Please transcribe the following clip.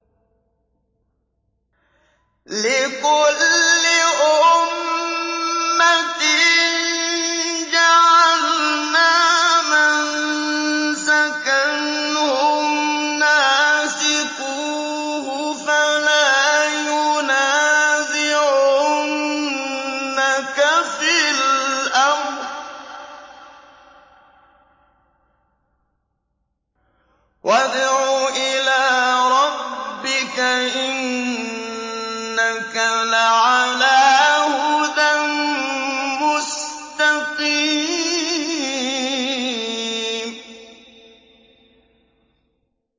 لِّكُلِّ أُمَّةٍ جَعَلْنَا مَنسَكًا هُمْ نَاسِكُوهُ ۖ فَلَا يُنَازِعُنَّكَ فِي الْأَمْرِ ۚ وَادْعُ إِلَىٰ رَبِّكَ ۖ إِنَّكَ لَعَلَىٰ هُدًى مُّسْتَقِيمٍ